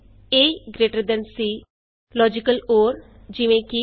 A B A C logical or easy